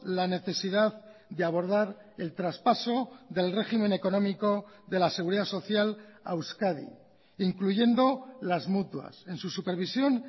la necesidad de abordar el traspaso del régimen económico de la seguridad social a euskadi incluyendo las mutuas en su supervisión